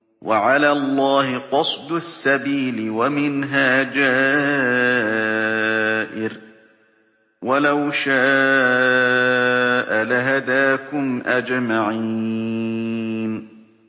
وَعَلَى اللَّهِ قَصْدُ السَّبِيلِ وَمِنْهَا جَائِرٌ ۚ وَلَوْ شَاءَ لَهَدَاكُمْ أَجْمَعِينَ